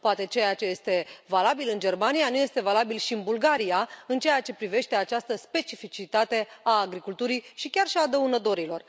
Poate ceea ce este valabil în Germania nu este valabil și în Bulgaria în ceea ce privește această specificitate a agriculturii și chiar și a dăunătorilor.